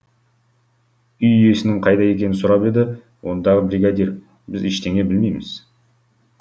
үй иесінің қайда екенін сұрап еді ондағы бригадир біз ештеңе білмейміз